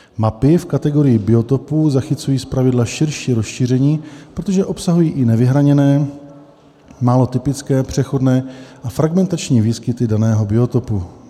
Mapy v kategorii biotopů zachycují zpravidla širší rozšíření, protože obsahují i nevyhraněné, málo typické, přechodné a fragmentární výskyty daného biotopu;